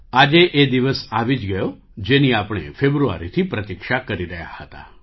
આજે એ દિવસ આવી જ ગયો જેની આપણે ફેબ્રુઆરીથી પ્રતીક્ષા કરી રહ્યા હતા